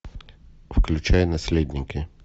включай наследники